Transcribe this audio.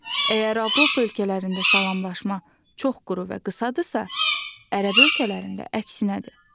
Əgər Avropa ölkələrində salamlaşma çox quru və qısadırsa, Ərəb ölkələrində əksinədir.